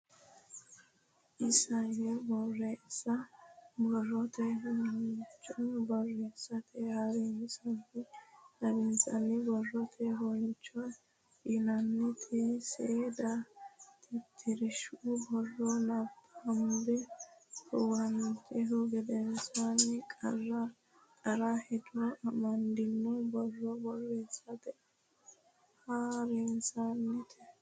Isayyo Borreessa Borrote Huunco Borreessate Ha rinsho Xawishsha Borrote huunco yinanniti seeda tittirshu borro nabbambe huwantihu gedensaanni qara qara hedo amaddino borro borreessate ha rinshooti.